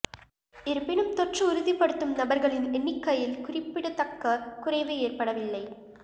இருப்பினும் தொற்று உறுதிப்படுத்தும் நபர்களின் எண்ணிக்கையில் குறிப்பிடத்தக்க குறைவு ஏற்படவில்லை